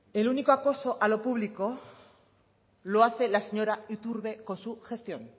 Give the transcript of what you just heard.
el único acoso a lo público lo hace la señora iturbe con su gestión